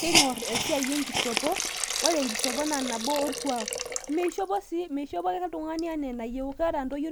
keing'or esiai enkishopo, ore enkishopo naa nabo orkuak, meishop ake oltungani anaa enayieu, amu keeta ntotie